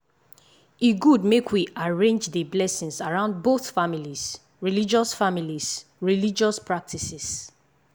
e good make we arrange dey blessings around both families 'religious families 'religious practices.